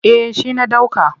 Eh shi na ɗauka.